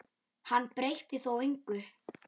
Hann breytti þó engu.